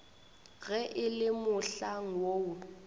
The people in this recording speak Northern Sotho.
ge e le mohlang woo